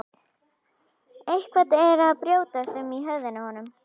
Eitthvað er að brjótast um í höfðinu á honum.